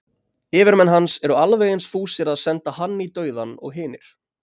yfirmenn hans eru alveg eins fúsir að senda hann í dauðann og hinir